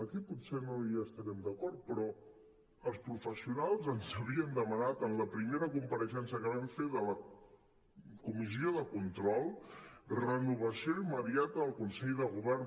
aquí pot·ser no hi estarem d’acord però els professionals ens havien demanat en la primera compareixença que vam fer de la comissió de control renovació immediata del con·sell de govern